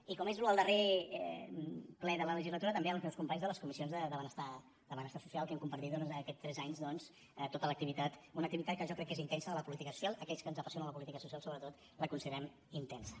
i com és el darrer ple de la legislatura també als meus companys de les comissions de benestar social que hem compartit durant aquests tres anys doncs tota la activitat una activitat que jo crec que és intensa de la política social aquells a qui ens apassiona la política social sobretot la considerem intensa